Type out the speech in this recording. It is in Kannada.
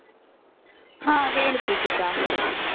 ಹ ಹೇಳು ಪ್ರೀತಿಕ.